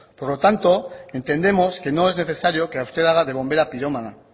por lo tanto entendemos que no es necesario que usted haga de bombera pirómana